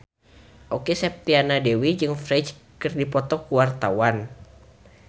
Okky Setiana Dewi jeung Ferdge keur dipoto ku wartawan